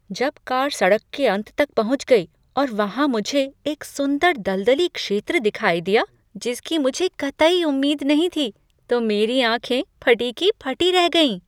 जब कार सड़क के अंत पर पहुंच गई और वहां मुझे एक सुंदर दलदली क्षेत्र दिखाई दिया जिसकी मुझे कतई उम्मीद नहीं थी तो मेरी आँखें फटी की फटी रह गईं।